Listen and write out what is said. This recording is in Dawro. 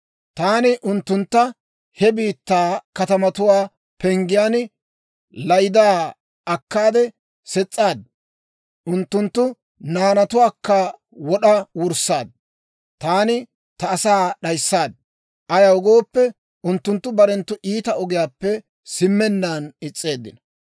Taani unttuntta he biittaa katamatuwaa penggiyaan laydaa akkaade ses's'aad. Unttunttu naanatuwaakka wod'a wurssaad; taani ta asaa d'ayissaad. Ayaw gooppe, unttunttu barenttu iita ogiyaappe simmennaan is's'eeddino.